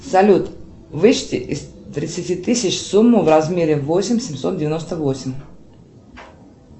салют вычти из тридцати тысяч сумму в размере восемь семьсот девяносто восемь